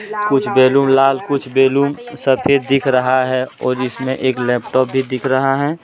कुछ बैलून लाल कुछ बैलून सफेद दिख रहा है और जिसमें एक लैपटॉप भी दिख रहा है।